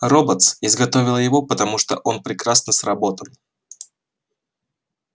роботс изготовила его потому что он прекрасно сработан